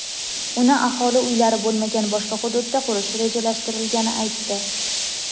uni aholi uylari bo‘lmagan boshqa hududda qurish rejalashtirilgani aytdi.